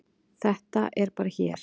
Þetta er bara hér.